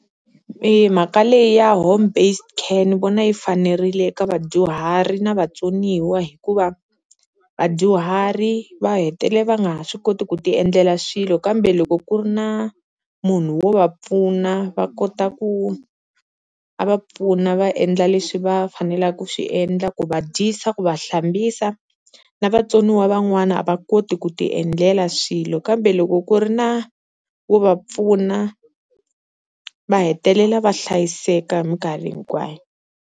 I mhaka leyi ya Home Based Care ni vona yi fanerile eka vadyuhari na vatsoniwa, hikuva vadyuhari va hetelela va nga ha swi koti ku ti endlela swilo kambe loko ku ri na munhu wo va pfuna va kota ku a va pfuna va endla leswi va faneleke ku swi endla, ku va dyisa ku va hlambisa na vatsoniwa van'wana a va koti ku ti endlela swilo, kambe loko ku ri na wo va pfuna va hetelela va hlayiseka hi minkarhi hinkwayo.